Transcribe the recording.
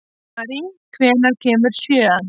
Mary, hvenær kemur sjöan?